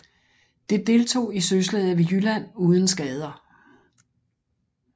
Det deltog i søslaget ved Jylland uden skader